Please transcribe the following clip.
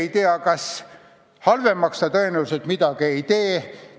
Halvemaks selle saamine seaduseks tõenäoliselt midagi ei tee.